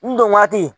N dɔn waati